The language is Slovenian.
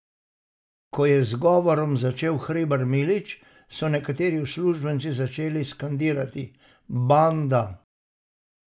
Ko je z govorom začel Hribar Milič, so nekateri udeleženci začeli skandirati: "Banda.